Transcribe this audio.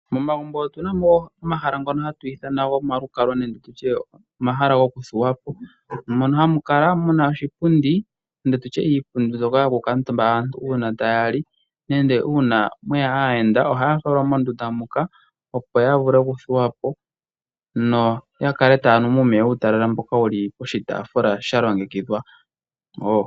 Momagumbo otuna mo omahala ngoka hatu ithana omalukalwa nenge tutye omahala gokuthuwa po. Mono hamu kala muna oshipundi nenge tutye iipundi mbyoka yokukuutumba aantu uuna ta ya li, nenge uuna mweya aayenda ohaya falwa mondunda muka opo ya vule okuthuwa po, no ya kale taya nu mo muumeya mboka wuli poshitafula sha longekidhwa wo.